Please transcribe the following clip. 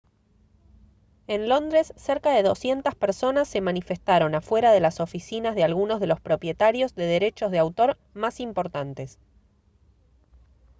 en londres cerca de 200 personas se manifestaron afuera de las oficinas de algunos de los propietarios de derechos de autor más importantes